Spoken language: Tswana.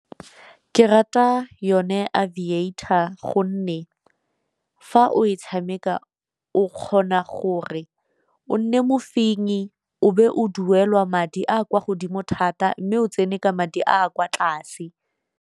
Ke rata yone a Aviator gonne fa o e tshameka o kgona gore o nne mofenyi o be o duelwa madi a kwa godimo thata, mme o tsene ka madi a a kwa tlase.